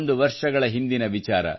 101 ವರ್ಷಗಳ ಹಿಂದಿನ ವಿಚಾರ